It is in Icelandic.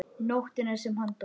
Nóttina sem hann dó?